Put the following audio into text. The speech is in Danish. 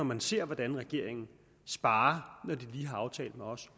man ser hvordan regeringen sparer når de lige har aftalt med os